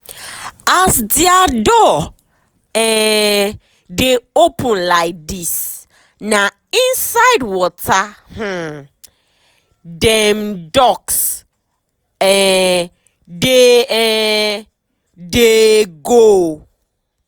as dia door um dey open laidis na inside water um dem ducks um dey um dey go.